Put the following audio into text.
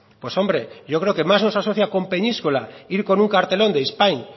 pues hombre yo creo que más nos asocia con peñíscola ir con un cartelón de spain